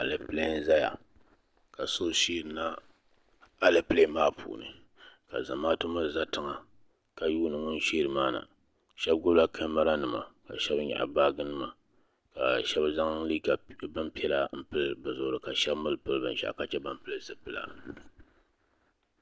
Alɛpilɛ n zaya ka so sheeri na alɛpilɛ maa puuni ka zamaatu mi za tiŋa ka yuuni ŋun sheeri maa na shɛba gbubi la kamara nima ka shɛba nyaɣi baaji nima ka shɛba zaŋ bin piɛla n pili bi zuɣiri ka shɛba mi bi pili binshaɣu ka che ban pili zipila.